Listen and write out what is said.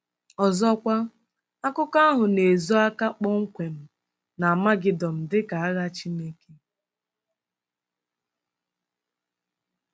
Ọzọkwa, akụkọ ahụ na-ezo aka kpọmkwem n'Amagedọn dị ka agha Chineke.